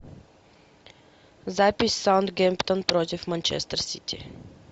запись саутгемптон против манчестер сити